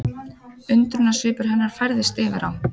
Undrunarsvipur hennar færðist yfir á